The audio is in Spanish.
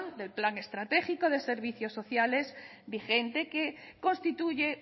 del plan estratégico de servicios sociales vigente que constituye